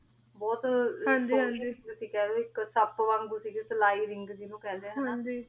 ਬੋਹਤ ਕੁਛ ਤੁਸੀਂ ਖ ਦੋ ਹਾਂਜੀ ਹਾਂਜੀ ਕੇ ਸਾਪ ਵਾਂਗੂ ਸਿਲਾਈ ring ਜਿਨੂ ਕੇਹੰਡੀ ਆ ਤੇ ਓਦੇ ਨਾਲ ਈ ਦਫਨਾ ਦਿਤਾ ਗਯਾ ਸੀਗ